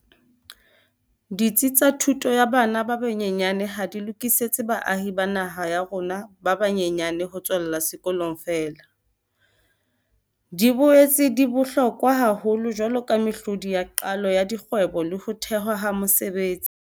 Ditsi tsa thuto ya bana ba banyenyane ha di lokisetse baahi ba naha ya rona ba ba nyenyane ho tswella sekolong feela, di boetse di bohlokwa haholo jwaloka mehlodi ya qalo ya dikgwebo le ho thehwa ha mesebetsi.